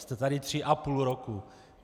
Jste tady tři a půl roku.